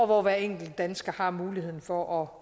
hvor hver enkelt dansker har muligheden for